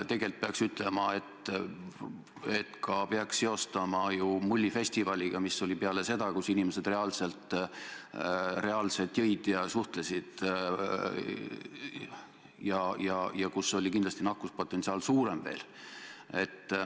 Tegelikult peaks seda seostama ka Mullifestivaliga, mis oli peale neid matše ja kus inimesed reaalselt jõid ja suhtlesid ja kus oli kindlasti nakatumise potentsiaal veel suurem.